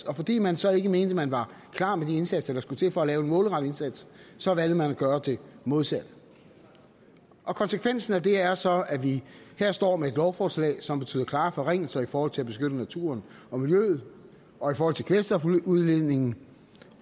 og fordi man så ikke mente man var klar med de indsatser der skulle til for at lave en målrettet indsats så valgte man at gøre det modsatte konsekvensen af det er så at vi her står med et lovforslag som betyder klare forringelser i forhold til at beskytte naturen og miljøet og i forhold til kvælstofudledningen